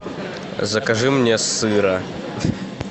закажи мне сыра